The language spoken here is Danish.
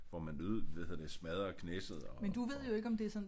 Hvor man hvad hedder det smadrer Knesset og